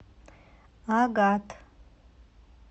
агат